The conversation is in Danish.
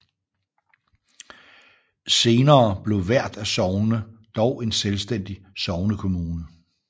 Senere blev hvert af sognene dog en selvstændig sognekommune